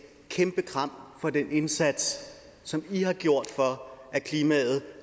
kæmpe kram for den indsats som i har gjort for at klimaet